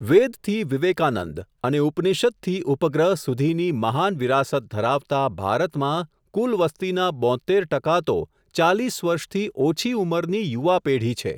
વેદથી વિવેકાનંદ અને ઉપનિષદથી ઉપગ્રહ, સુધીની મહાન વિરાસત ધરાવતાં ભારતમાં કુલ વસતિના, બોત્તેર ટકા તો, ચાલીસ વર્ષથી ઓછી ઉમરની યુવાપેઢી છે.